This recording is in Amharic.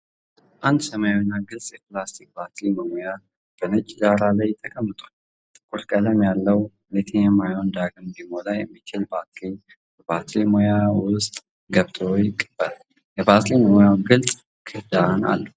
አንድ ሰማያዊና ግልጽ የፕላስቲክ ባትሪ መሙያ በነጭ ዳራ ላይ ተቀምጧል። ጥቁር ቀለም ያለው ሊቲየም-አዮን ዳግም ሊሞላ የሚችል ባትሪ በባትሪ መሙያው ውስጥ ገብቶ ይቀበላል። የባትሪ መሙያው ግልጽ ክዳን አለው።